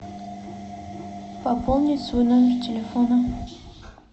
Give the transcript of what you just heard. пополнить свой номер телефона